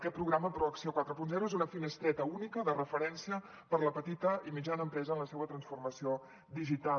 aquest programa proacció quaranta és una finestreta única de referència per a la petita i mitjana empresa en la seva transformació digital